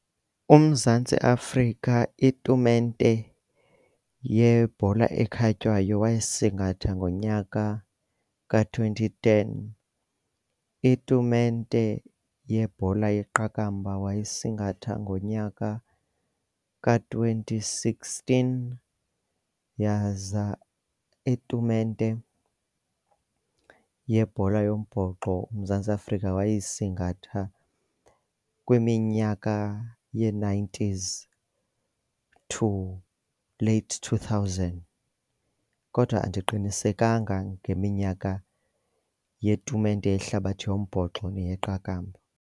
UMzantsi Afrika itumente yebhola ekhatywayo wayisingatha ngonyaka ka-twenty ten. Itumente yebhola yeqakamba wayesingatha ngonyaka ka-twenty sixteen, yaza itumente yebhola yombhoxo uMzantsi Afrika wayesingatha kwiminyaka ye-nineties to late two thousand kodwa andiqinisekanga ngeminyaka yetumente yehlabathi yombhoxo neyeqakamba.